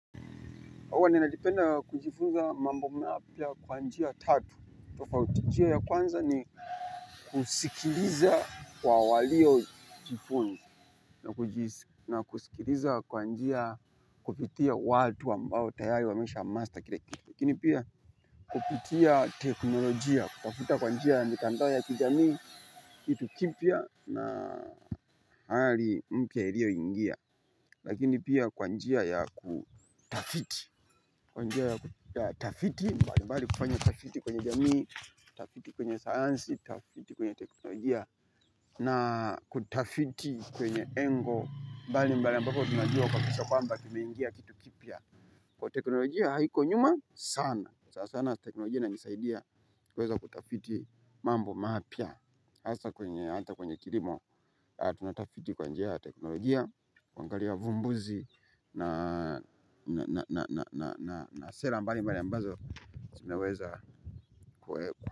Hwa ninajipenda kujifunza mambo mapya kwa njia tatu. Tofauti njia ya kwanza ni kusikiliza kwa walio jifunza na kusikiliza kwa njia kupitia watu ambao tayari wamesha master kila kitu. Lakini pia kupitia teknolojia, kutafuta kwa njia mitandao ya kijami, kitu kimpya na hali mpya ilio ingia. Lakini pia kwanjia ya kutafiti. Kwa njia ya tafiti, mbali mbali kufanya tafiti kwenye jamii, tafiti kwenye sayansi tafiti kwenye teknolojia na kutafiti kwenye engo mbali mbali ambapo tunajua kaba kisa kwamba kimeingia kitu kipya. Kwa teknolojia haiko nyuma sana. Sana teknolojia inanisaidia kuweza kutafiti mambo mapya hasa kwenye hata kwenye kilimo hatuna tafiti kwa njia ya teknolojia. Ku angalia vumbuzi. Na sera mbali mbali ambazo sinaweza kueko.